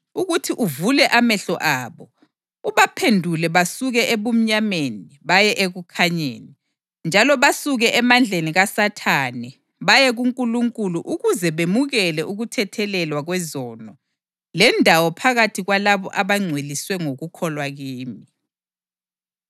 ukuthi uvule amehlo abo, ubaphendule basuke ebumnyameni baye ekukhanyeni, njalo basuke emandleni kaSathane baye kuNkulunkulu ukuze bemukele ukuthethelelwa kwezono lendawo phakathi kwalabo abangcweliswe ngokukholwa kimi.’